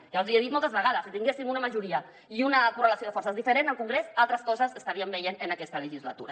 ja els hi he dit moltes vegades si tinguéssim una majoria i una correlació de forces diferent al congrés altres coses estaríem veient en aquesta legislatura